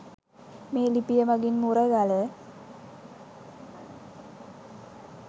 මේ ලිපිය මගින් මුරගල